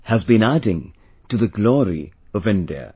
has been adding to the glory of India